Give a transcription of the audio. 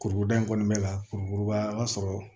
Kurukuruda in kɔnɔna la kurukuruba a b'a sɔrɔ